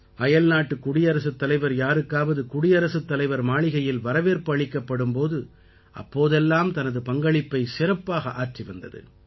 அயல்நாட்டு குடியரசுத் தலைவர் யாருக்காவது குடியரசுத் தலைவர் மாளிகையில் வரவேற்பு அளிக்கப்படும் போது அப்போதெல்லாம் தனது பங்களிப்பை சிறப்பாக ஆற்றி வந்தது